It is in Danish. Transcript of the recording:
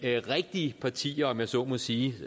rigtige partier om jeg så må sige